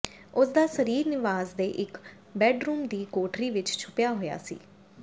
ਉਸ ਦਾ ਸਰੀਰ ਨਿਵਾਸ ਦੇ ਇਕ ਬੈੱਡਰੂਮ ਦੀ ਕੋਠੜੀ ਵਿਚ ਛੁਪਿਆ ਹੋਇਆ ਸੀ